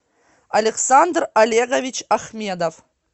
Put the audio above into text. александр олегович ахмедов